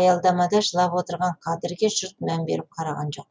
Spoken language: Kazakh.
аялдамада жылап отырған қадірге жұрт мән беріп қараған жоқ